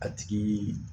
A tigi